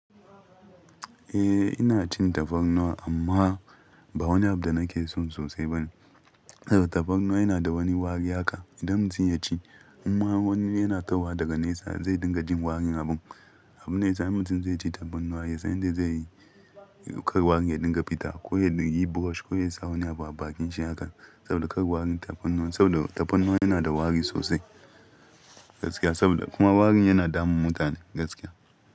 Eh ina cin tafarnuwa amma ba wani abu da nake so sosai ba ne. Saboda tafarnuwa yana da wani wari haka idan mutum ya ci, in ma wani yana tahowa daga nesa zai dinga jin warin abun. Abune sa mutum zai ci tafarnuwa ya san yadda zai yi kar warin ya dinga fita ko ya yi brush ko ya sa wani abu a bakin shi haka saboda kar warin tafarnuwan saboda tafarnuwa yana da wari sosai gaskiya saboda kuma warin yana damun mutane gaskiya.